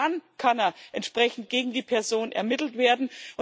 Nur dann kann entsprechend gegen die Person ermittelt werden.